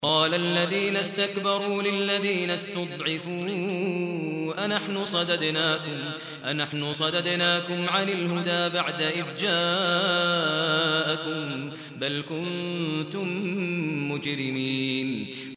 قَالَ الَّذِينَ اسْتَكْبَرُوا لِلَّذِينَ اسْتُضْعِفُوا أَنَحْنُ صَدَدْنَاكُمْ عَنِ الْهُدَىٰ بَعْدَ إِذْ جَاءَكُم ۖ بَلْ كُنتُم مُّجْرِمِينَ